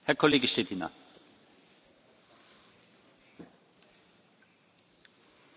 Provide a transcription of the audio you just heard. Přemýšlel jsem o tom dlouho, myslím si, že nesmíme takovou situaci dopustit.